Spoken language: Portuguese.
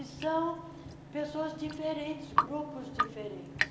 E são pessoas diferentes, grupos diferentes.